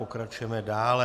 Pokračujeme dále.